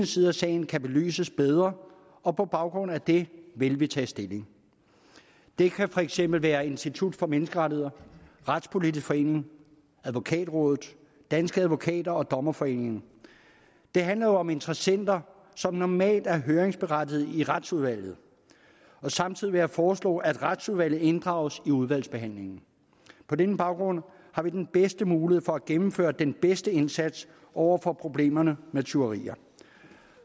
side af sagen kan belyses bedre og på baggrund af det vil vi tage stilling det kan for eksempel være institut for menneskerettigheder retspolitisk forening advokatrådet danske advokater og dommerforeningen det handler jo om interessenter som normalt er høringsberettigede i retsudvalget samtidig vil jeg foreslå at retsudvalget inddrages i udvalgsbehandlingen på den baggrund har vi den bedste mulighed for at gennemføre den bedste indsats over for problemerne med tyverier